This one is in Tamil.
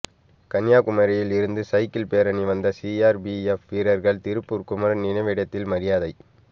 கன்னியாகுமரியில் இருந்து சைக்கிள் பேரணி வந்த சிஆர்பிஎப் வீரர்கள் திருப்பூர் குமரன் நினைவிடத்தில் மரியாதை